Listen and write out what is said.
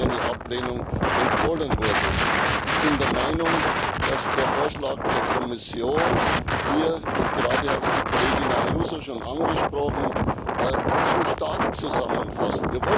eine Ablehnung empfohlen wurde. Ich bin der Meinung, dass der Vorschlag der Kommission hier und gerade hat es die Kollegin Ayuso schon angesprochen zu stark zusammenfasst.